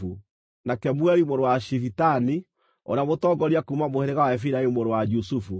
na Kemueli mũrũ wa Shifitani, ũrĩa mũtongoria kuuma mũhĩrĩga wa Efiraimu mũrũ wa Jusufu;